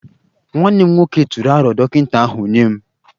Nwanne m nwoke tụrụ aro dọkịta ahu nye m